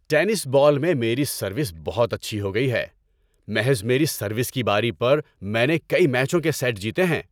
Tennis ball میں میری service بہت اچھی ہو گئی ہے۔ محض میری سروس کی باری پر میں نے کئی میچوں کے سیٹ جیتے ہیں۔